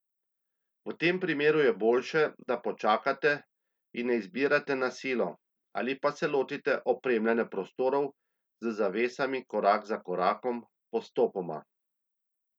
V tem primeru je boljše, da počakate in ne izbirate na silo, ali pa se lotite opremljanja prostorov z zavesami korak za korakom, postopoma.